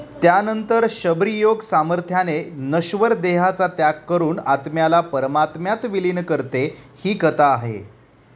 त्यानंतर शबरी योग सामर्थ्याने नश्वर देहाचा त्याग करून आत्म्याला परमात्म्यात विलीन करते, ही कथा आहे.